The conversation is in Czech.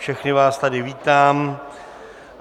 Všechny vás tady vítám.